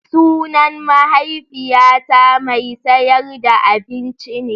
Sunan mahaifiyata mai sayar da abinci ne.